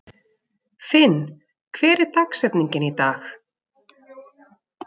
Finn, hver er dagsetningin í dag?